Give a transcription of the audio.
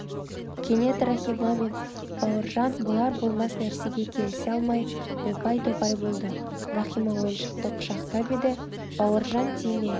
кенет рахима мен бауыржан болар-болмас нәрсеге келісе алмай опай-топай болды рахима ойыншықты құшақтап еді бауыржан тиме